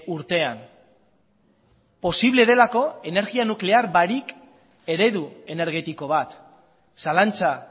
urtean posible delako energia nuklear barik eredu energetiko bat zalantza